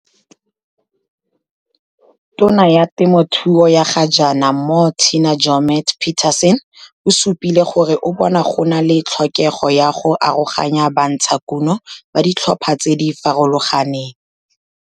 Tona ya Temothuo ya gajaana Moh Tina Joemat-Pettersson o supile gore o bona go na le tlhokego ya go aroganya bantshakuno ba ditlhopha tse di farologaneng.